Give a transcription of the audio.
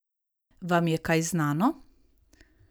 Vam je kaj znano?